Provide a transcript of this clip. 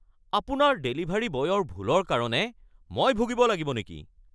আপোনাৰ ডেলিভাৰী বয়ৰ ভুলৰ কাৰণে মই ভূগিব লাগিব নেকি? (গ্ৰাহক)